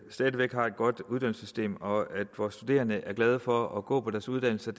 stadig væk har et godt uddannelsessystem og at vores studerende er glade for at gå på deres uddannelser